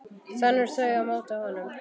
Þenur þau á móti honum.